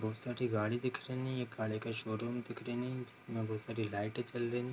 बहुत सारे गाड़ी दिख रहे हैं एक गाड़ी का शोरूम दिख रही हैं जिसमे बहुत सारे लाइट जल रही हैं।